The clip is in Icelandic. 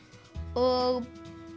og